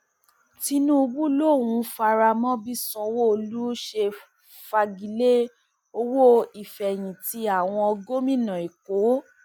tinúbú lòún faramọ bí sanwóolu ṣe fàgilẹ owó ìfẹyìntì àwọn gómìnà èkó